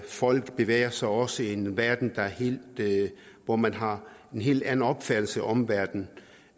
folk bevæger sig også i en verden hvor man har en helt anden opfattelse af omverdenen